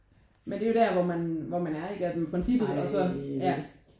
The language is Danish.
Men det er jo der hvor man hvor man er ikke at i princippet og ja ja